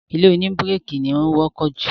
ilé òní bíríkì ni ó wọ́pọ̀ jù.